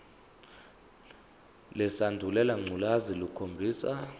lesandulela ngculazi lukhombisa